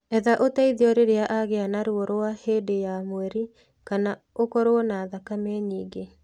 Etha ũteithio rĩrĩa agĩa na ruo rwa hĩndĩ ya mweri kana ũkorũo na thakame nyingĩ.